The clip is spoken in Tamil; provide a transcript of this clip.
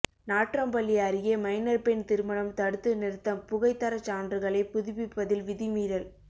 நாட்றம்பள்ளி அருகே மைனர் பெண் திருமணம் தடுத்து நிறுத்தம் புகை தரச்சான்றுகளை புதுப்பிப்பதில் விதிமீறல்